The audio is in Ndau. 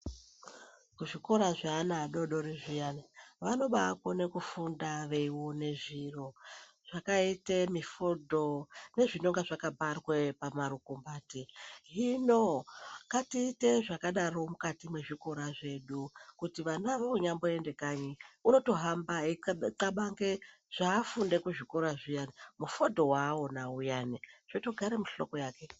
Kuzvikora zveana adodori zviyani, vanobakone kufunda veione zviro zvakaite mifodho nezvinonga zvakabharwe pamarukumbati, hino ngatiite zvakadaro mukati mwezvikora zvedu kuti vana vonyamboende kanyu unotohamba einxabange zvafunde kuzvikora zviyani mufodho waona uyani zvotogade muhloko yake.